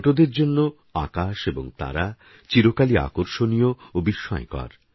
ছোটদেরজন্যেআকাশএবংতারাচিরকালইআকর্ষণীয়ওবিস্ময়কর